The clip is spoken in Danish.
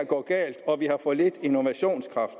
gå galt og at vi havde for lidt innovationskraft